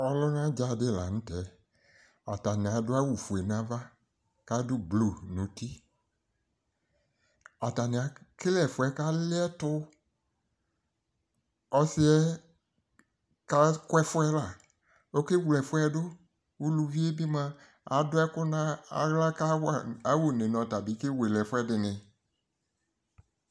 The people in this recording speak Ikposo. Ɔlʋna dza dɩ la nʋtɛ atanɩ adʋ awʋ fʋe nava kadʋ blʋ nʋtɩ atanɩ ekele ɛfuɛ kalɩɛtʋ ɔsɩɛ kakʋ ɛfʋɛ la okewle ɛfʋɛ dʋ ʋlʋvɩe bɩ mʋa adʋ ɛkʋ naɣla kawa ʋne nu ɔtabɩ kewele ɛfʋɛdɩnɩ